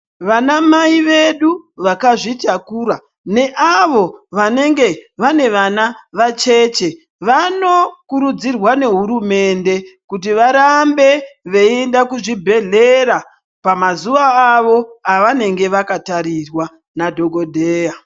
Vanamai vedu vakazvitakura neavo vanenge vane vana vacheche vanokurudzirwa nehurumende kuti varambe veienda kuzvibhedhlera. Pamazuva avo avanenge vakatarirwa nadhogodheya.